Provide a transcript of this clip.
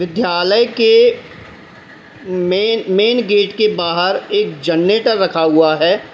विद्यालय के main main gate के बाहर एक जनरेटर रखा हुआ है।